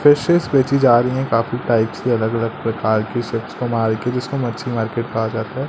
Fishes बेची जा रही हैं काफी टाइप्स की अलग अलग प्रकार की मार्केट जिसको मच्छी मार्केट कहा जाता है।